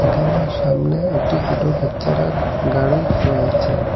এখানে সামনে একটি ছোট বাচ্চারার গাড়ি রয়েছে।